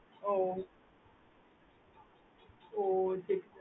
ooh